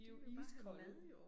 De jo iskolde